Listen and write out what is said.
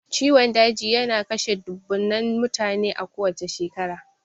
Ciwon daji yana kashe dubbunnan mutane a kowacce shekara.